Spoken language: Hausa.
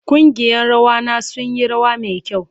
Kungiyan rawa na sun yi rawa mai kyau.